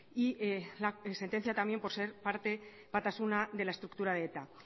y la sentencia también por ser parte batasuna de la estructura de eta